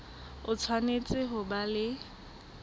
o tshwanetse ho ba le